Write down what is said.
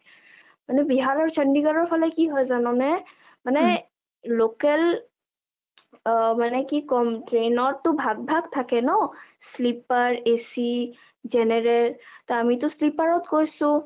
মানে বিহাৰ, চণ্ডিগড ফালে কি হয় জান নে ? মানে local অ মানে কি কম train ত টো ভাগ ভাগ থাকে ন sleeper, AC, general আমিটো sleeper ত গৈছো,